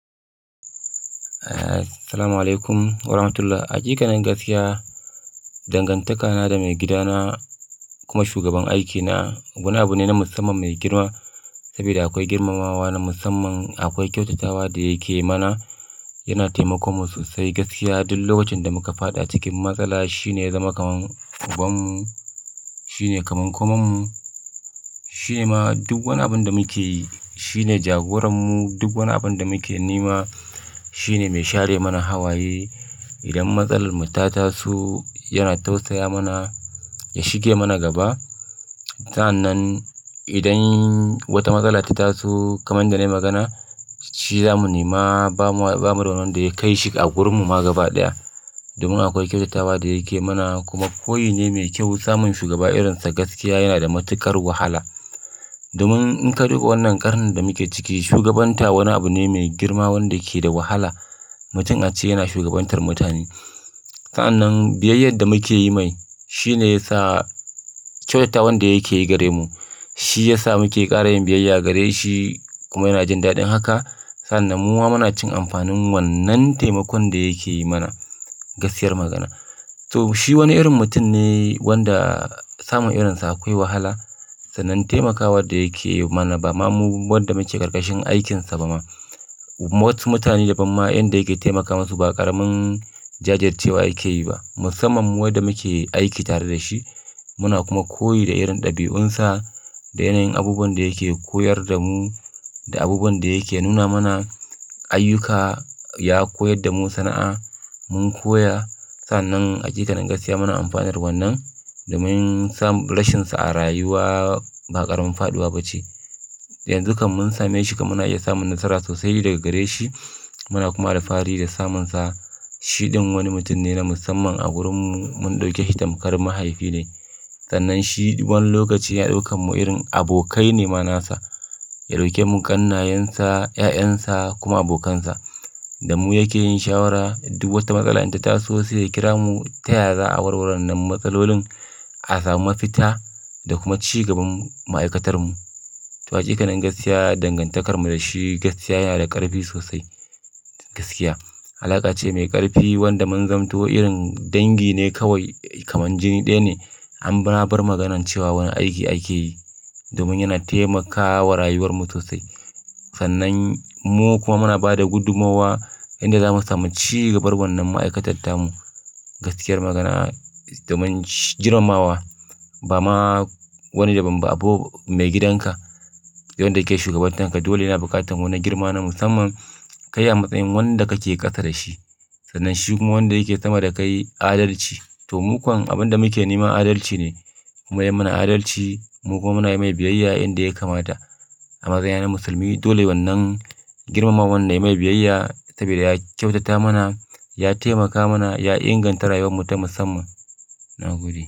Assalamu alaikum wa rahmatullah. A hakikanin gaskiya, dangantaka na da maigidana kuma shugaban aikina wani abu ne na musamman mai girma saboda akwai girmamawa na musamman. Akwai kyautatawa da yake mana, yana taimakomu sosai gaskiya. Duk lokacin da muka faɗa cikin matsala, shi ne zama kamar ubanmu. Shi ne kamar komonmu. Shi ma duk wani abin da muke yi, shi ne jagoranmu. Duk wani abin da muke nema, shi ne mai share mana hawaye. Idan matsalar mu ta taso, yana tausaya mana, ya shige mana gaba. Sa'an nan idan wata matsala ta taso kamar da na yi magana, shi zamu nema. Ba mu, ba mu da wanda ya kai shi a gurin mu ma gaba ɗaya. Domin akwai kyautatawa da yake mana kuma koyi ne mai kyau samun shugaba irinsa gaskiya yana da matuƙar wahala. Domin in ka duba wannan ƙarnin da muke ciki, shugabanta wani abu ne mai girma wanda ke da wahala. Mutum a ce yana shugabantar mutane. Sa'an nan, biyayyar da muke yi mai shi ne ya sa kyautatawar da yake yi gare mu. Shi ya sa muke ƙara yin biyayya gare shi kuma yana jin daɗin haka. Sannan mu ma muna cin amfanin wannan taimakon da yake yi mana gaskiyar magana. To, shi wani irin mutum ne wanda samun irinsa akwai wahala. Sannan taimakawa da yake yi mana ba ma mu wanda muke karkashin aikinsa ba ma. Wasu mutane da ban ma inda yake taimaka masu ba ƙaramin jajircewa yake yi ba. Musamman mu wa da muke aiki tare da shi, muna kuma koyi da irin ɗabi'unsa, da yanayin abubuwan da yake koyar da mu, da abubuwan da yake nuna mana, ayyuka ya koyar da mu sana'a mun koya. Sa'an nan a cikaken gaskiya muna amfanar wannan domin samun rashinsa a rayuwa ba ƙaramin faɗuwa ba ce. Yanzu kam mun same shi kam muna iya samun nasara sosai daga gare shi. Muna kuma da fari da samunsa. Shi ɗan wani mutum ne na musamman a gurinmu. Mun ɗauke shi tamkar mahaifi ne. Sannan shi wani lokaci ya ɗauka mu irin abokai nema nasa. Ya ɗauke mu ƙannayensa, 'ya'yansa kuma abokansa. Da mu yake yin shawara. Duk wata matsala inda ta taso sai kira mu taya za a warware wannan matsalolin a samu mafita da kuma ci gaban ma'aikatarmu. To a cikaken gaskiya dangantakar mu da shi gaskiya yana da ƙarfi sosai gaskiya. Alaƙa ce mai ƙarfi wanda mun zamanto irin dangi ne kawai kamar jini ɗaya ne. Anma bar maganan cewa wani aiki ake yi domin yana taimakawa rayuwar mu sosai. Sannan mu kuma muna ba da gudumowa inda zamu samu ci gabar wannan ma'aikatarta mu gaskiyar magana. Domin girmamawa ba ma wani da ban ba abu mai gidanka wanda yake shugabantanka dole yana bukatar wani girma na musamman. Kai a matsayin wanda kake ƙasa da shi sannan shi kuma wanda yake zama da kai adalci. To mukan abin da muke nema adalci ne. Kuma yayi mana adalci. Mu kuma muna yi mai biyayya inda ya kamata. A matsayina musulmi dole wannan girmamawar dai mai biyayya saboda ya kyautata mana, ya taimaka mana, ya inganta rayuwar mu ta musamman. Na gode.